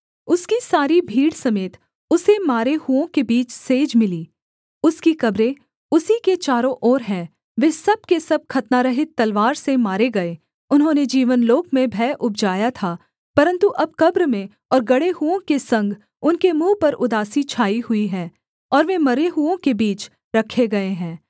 उसकी सारी भीड़ समेत उसे मारे हुओं के बीच सेज मिली उसकी कब्रें उसी के चारों ओर हैं वे सब के सब खतनारहित तलवार से मारे गए उन्होंने जीवनलोक में भय उपजाया था परन्तु अब कब्र में और गड़े हुओं के संग उनके मुँह पर उदासी छाई हुई है और वे मरे हुओं के बीच रखे गए हैं